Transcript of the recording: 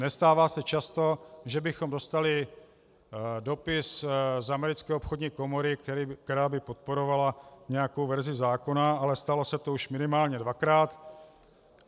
Nestává se často, že bychom dostali dopis z Americké obchodní komory, která by podporovala nějakou verzi zákona, ale stalo se to už minimálně dvakrát.